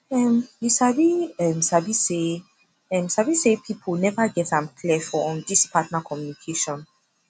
um you um sabi say um sabi say people never get am clear for um this partner communication